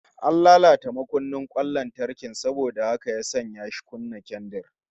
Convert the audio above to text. An latata makunnin kwan lantarkin saboda haka ya sanya shi ya kunna kendir